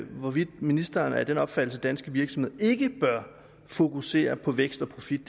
hvorvidt ministeren er af den opfattelse at danske virksomheder ikke bør fokusere på vækst og profit